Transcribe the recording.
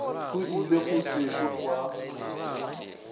go ile go sešo gwa